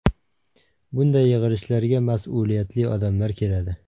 Bunday yig‘ilishlarga mas’uliyatli odamlar keladi.